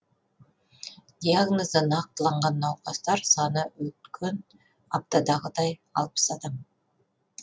диагнозы нақтыланған науқастар саны өткен аптадағыдай алпыс адам